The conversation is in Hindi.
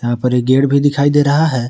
यहां पर ये गेट भी दिखाई दे रहा है।